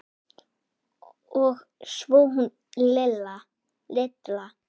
Og svo hún Lilla.